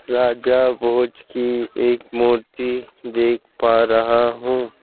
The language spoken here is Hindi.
राजा भोज की एक मूर्ति देख पा रहा हूं।